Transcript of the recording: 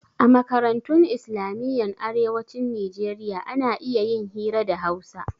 A makarantun islamiyyan arewacin nijeriya ana iya yin hira da hausa